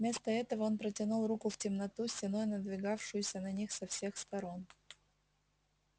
вместо этого он протянул руку в темноту стеной надвигавшуюся на них со всех сторон